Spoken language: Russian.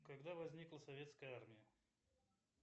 когда возникла советская армия